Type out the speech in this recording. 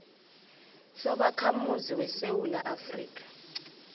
sobakhamuzi besewula afrika